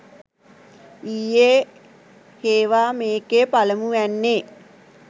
ඊයේ හේවා මේකෙ පළමුවැන්නේ